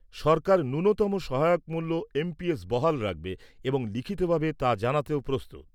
সরকার ন্যূনতম সহায়ক মূল্য বহাল রাখবে এবং লিখিতভাবে তা জানাতেও প্রস্তুত।